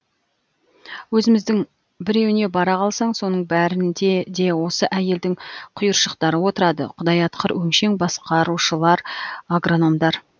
өзіміздің біреуіне бара қалсаң соның бәрінде де осы әйелдің құйыршықтары отырады құдай атқыр өңшең басқарушылар агрономдар